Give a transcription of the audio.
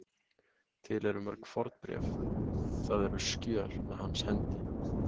Til eru mörg fornbréf, það eru skjöl, með hans hendi.